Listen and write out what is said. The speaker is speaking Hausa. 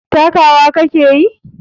Takawa ka ke yi?